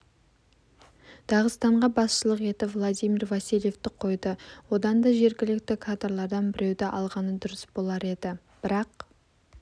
дағыстанға басшылық етіп владимир васильевті қойды одан да жергілікті кадрлардан біреуді алғаны дұрыс болар еді бірақ